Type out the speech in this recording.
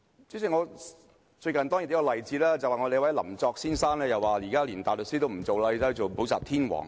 代理主席，最近有一個例子，有一位林作先生連大律師都不做，寧願做補習天王。